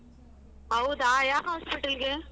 ಹೌದಾ ಯಾವ್ hospital ಗೆ?